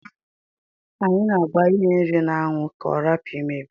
Anyi a agba ihe nri na anwu ka ọrapu imebi..